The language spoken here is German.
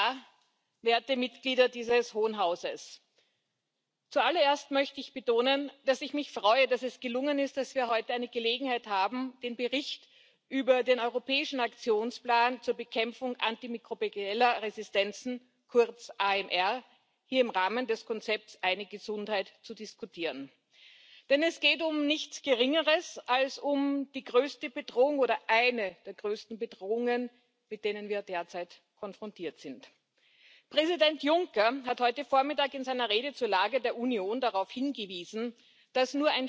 Ausschüssen. Die zahlreichen Ergänzungs und Abänderungsvorschläge haben dazu beigetragen, dass wir morgen zur Abstimmung einen Bericht vorlegen können, der nicht nur dem Konzept Eine Gesundheit entspricht, sondern auch dem Konzept Eine starke Stimme, denn sowohl im Agrarausschuss wie auch im Umweltausschuss wurde der Bericht einstimmig angenommen. Ich freue mich auf den heutigen Austausch mit ihnen